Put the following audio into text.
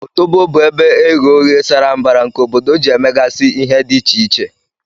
Otobo bu ebe eghe oghe sara mbara nke obodo ji emegasi ihe di iche iche.